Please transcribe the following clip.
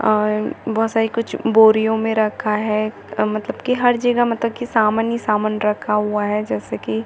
और बहुत सारी कुछ बोरियो में रखा है मतलब की हर जगह मतलब की सामान ही सामान रखा हुआ है जैसे की --